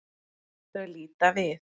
Þau líta við.